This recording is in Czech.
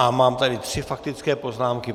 A mám tady tři faktické poznámky.